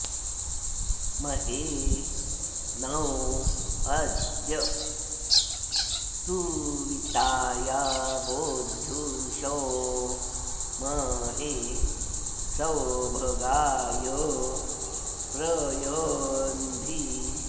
म॒हे नो॑ अ॒द्य सु॑वि॒ताय॑ बो॒ध्युषो॑ म॒हे सौभ॑गाय॒ प्र य॑न्धि